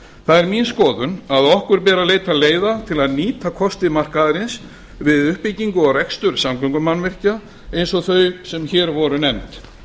það er mín skoðun að okkur beri að leita leiða til að nýta kosti markaðarins við uppbyggingu og rekstur samgöngumannvirkja eins og þeirra sem hér voru nefnd